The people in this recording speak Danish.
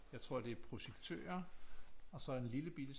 Jeg tror det er projektører og så en lillebitte